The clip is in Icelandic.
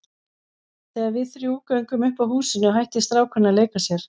Þegar við þrjú göngum upp að húsinu hættir strákurinn að leika sér.